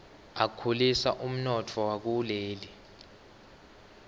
akhulisa umnotfo wakuleli